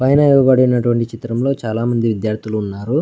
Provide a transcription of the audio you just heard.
పైన ఇవ్వబడినటు వంటి చిత్రం లో చాలామంది విద్యార్థులు ఉన్నారు.